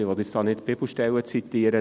Ich will nicht Bibelstellen zitieren.